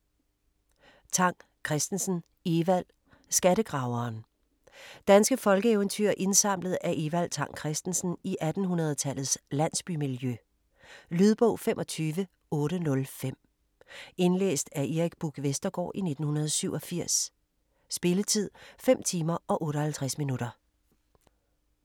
Tang Kristensen, Evald: Skattegraveren Danske folkeeventyr indsamlet af Evald Tang Kristensen i 1800-tallets landsbymiljø. Lydbog 25805 Indlæst af Erik Buch Vestergaard, 1987. Spilletid: 5 timer, 58 minutter.